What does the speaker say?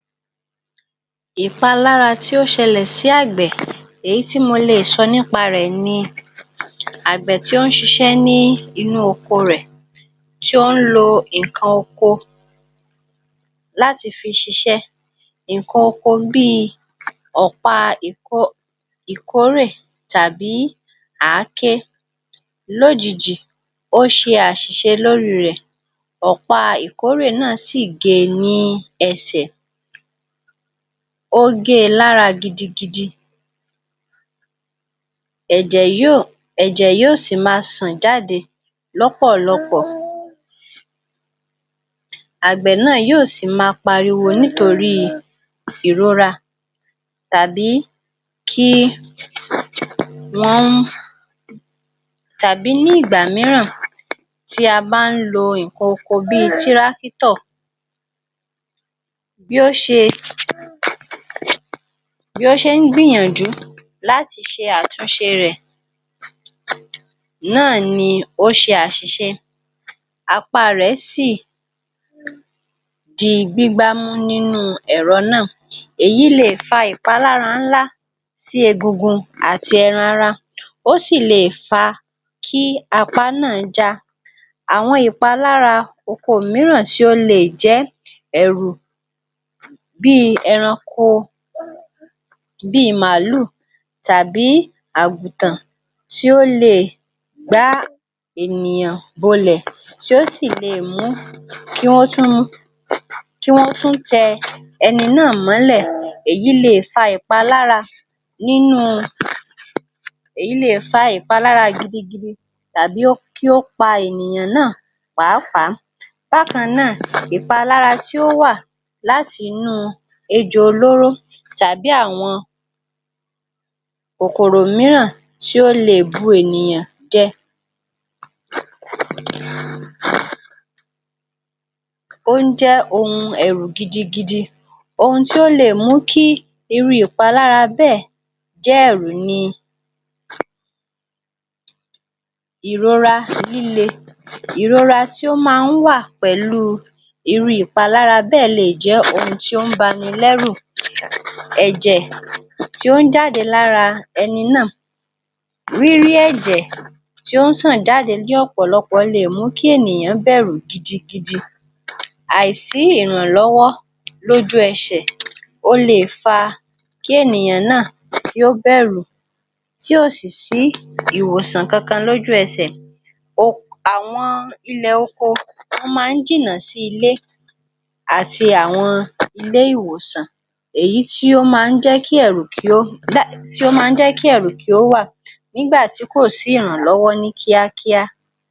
Èéfa lára tí ó ṣelẹ̀ sí àgbẹ̀ èyí tí mo lè sọ nípa rẹ̀ ni àgbẹ̀ tí ó ń ṣiṣẹ́ ní inú oko rẹ̀ tí ó ń lo nǹkan oko láti fi ṣiṣẹ́ nǹkan oko bí ọ̀pá ikore tàbí àáké. Lójijì, ó ṣe àṣiṣe lórí rẹ̀ ọ̀pá. Ikore náà sì gé ni ẹsẹ̀, ó gé lára gidigidi. Ẹjẹ́ yóò ẹjẹ́ yóò sí má sìn jáde lọ́pọ̀lọpọ̀. Àgbẹ̀ náà yóò sì má pariwo nítorí ìrora tàbí kí wọn tàbí ní ìgbà míràn ti a ba n lo nkan oko bi ti rákítọ̀. Bí ó ṣe. Bí ó ṣe ń gbìyànjú láti í ṣe àtúnṣe rẹ̀ náà ni ó ṣe àṣiṣe. Apá rẹ̀ sì di ìgbígbá mú nínú ẹ̀rọ náà. Éyí lè fa ìpalára ńlá sí ẹgbẹgun àti ẹran-ara. Ó sì le fa kí apá náà ja. Awọn ìpalára oko mííràn tío lè jẹ ẹ̀rù bí ẹranko bí màlú tàbí àgútan tí ó le gba ènìyàn bolẹ̀ tí ó sì lè mú kí wọn tún, kí wọn tún tẹ ẹni náà mọ́lẹ̀. Èyí le fa ìpalára nínú, èyí le fa ìpalára gidigidi tàbí ó kí ó pa ènìyàn náà pàápàá. Wá káná, ìpalára tí ó wà láti nú ejo olorú tàbí àwọn ọkùrò míràn tí ó le bu ènìyàn jẹ. Ó n jẹ ohun ẹ̀rù gidigidi ohun tí ó le mú kí iru ìpalára bẹ́ẹ̀ jẹ ẹ̀rù ni. Ìrora líle. Ìrora tí ó máa ń wà pẹ̀lú iru ìpalára bẹ́ẹ̀ lè jẹ ohun tí ó ń bani lẹru, ẹjẹ̀ tí ó ń jáde lára ẹni náà. Rírájẹ̀ tí ó sàn dádi líọ pọ̀lọpọ̀ lè mú kí ènìyàn bẹ̀rù gidigidi. Àìsí ìrànlọwọ lójú ẹṣẹ̀ o le fa kí ènìyàn náà yóò bẹ̀rù tí ó sì sí ìwòsàn kankan lójú ẹsẹ̀. Ohun àwọn ilẹ̀ oko wọn máa ń jìnà sí ilé àti àwọn ilé ìwòsàn, èyí tí yóò máa n jẹ́ kí ẹ̀rù kí ó dá tí máa n jẹ́ kí ẹ̀rù kí ó wà nígbàtí kò sí ìrànlọwọ ní kíákíá.